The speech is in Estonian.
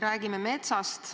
Räägime metsast.